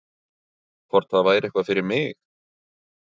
Hvort það væri eitthvað fyrir mig?